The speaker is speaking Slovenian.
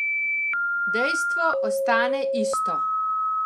Dejstvo ostane isto.